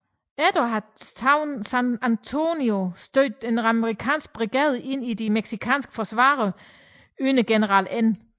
Efter at have taget San Antonio stødte en amerikansk brigade ind i de mexicanske forsvarere under General N